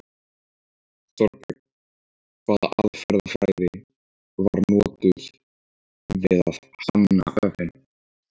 Þorbjörn: Hvaða aðferðafræði var notuð við að hanna vefinn?